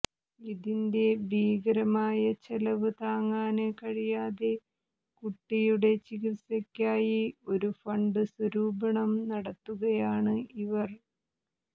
ഇതിന്റെ ഭീകരമായ ചെലവ് താങ്ങാന് കഴിയാതെ കുട്ടിയുടെ ചികിത്സയ്ക്കായി ഒരു ഫണ്ട് സ്വരൂപണം നടത്തുകയാണ് ഇവര്